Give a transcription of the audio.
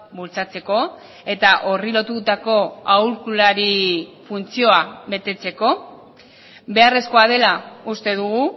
bultzatzeko eta horri lotutako aholkulari funtzioa betetzeko beharrezkoa dela uste dugu